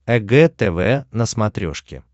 эг тв на смотрешке